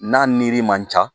N'a niri man ca